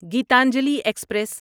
Gitanjali express